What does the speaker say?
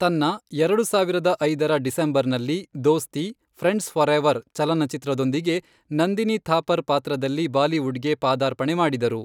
ತನ್ನಾ ಎರಡು ಸಾವಿರದ ಐದರ ಡಿಸೆಂಬರ್ನಲ್ಲಿ ದೋಸ್ತಿ, ಫ್ರೆಂಡ್ಸ್ ಫಾರೆವರ್ ಚಲನಚಿತ್ರದೊಂದಿಗೆ ನಂದಿನಿ ಥಾಪರ್ ಪಾತ್ರದಲ್ಲಿ ಬಾಲಿವುಡ್ಗೆ ಪಾದಾರ್ಪಣೆ ಮಾಡಿದರು.